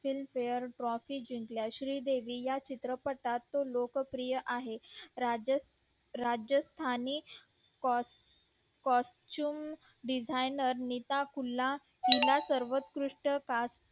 films fair trophy जिंकल्या श्री देवी या चित्रपटात खूप लोक प्रिय आहे राज्य राजस्तानी coshum designer नीता कुल्ला हिला सर्वंकृष्ट